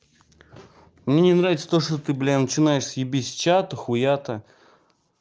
мне нравится то что ты блин начинаешь съебись с чата хуята